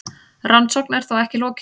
Rannsókn er þó ekki lokið.